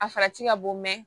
A farati ka bon